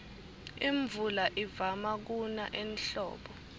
imvula ivama kuna ehlobo